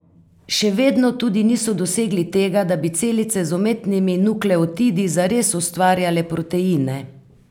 Še vedno tudi niso dosegli tega, da bi celice z umetnimi nukleotidi zares ustvarjale proteine.